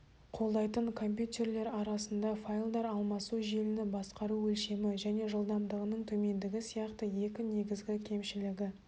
қолдайтын компьютеррлер ара-сында файлдар алмасу желіні басқару өлшемі және жылдамдығының төмендігі сияқты екі негізгі кемшілігі